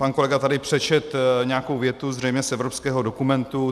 Pan kolega tady přečetl nějakou větu zřejmě z evropského dokumentu.